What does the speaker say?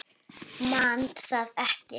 Man það ekki.